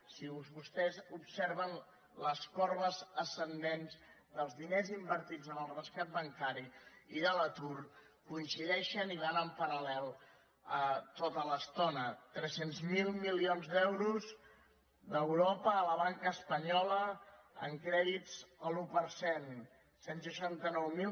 si vostès observen les corbes ascendents dels diners invertits en el rescat bancari i de l’atur coincideixen i van en paral·lel tota l’estona tres cents miler milions d’euros d’europa a la banca espanyola en crèdits a l’un per cent cent i seixanta nou mil